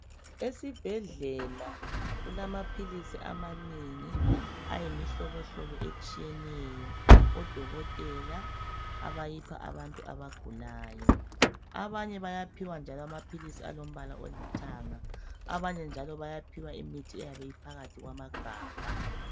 Esibhedlela kulamaphilisi amanengi ,ayimihlobo hlobo etshiyeneyo .Odokothela abayipha abantu abagulayo, abanye bayaphiwa njalo amaphilisi alombala olithanga abanye njalo bayaphiwa imithi eyabe iphakathi kwamagabha.